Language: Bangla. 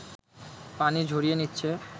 পানি ঝরিয়ে নিচ্ছে